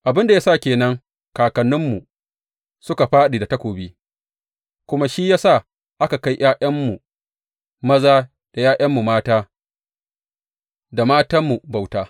Abin da ya sa ke nan kakanninmu suka fāɗi ta takobi, kuma shi ya sa aka kai ’ya’yanmu maza da ’ya’yanmu mata da matanmu bauta.